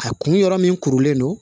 A kun yɔrɔ min kurulen don